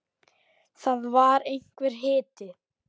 Og það var einhver hiti.